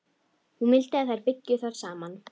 Hún vildi að þær byggju þar saman.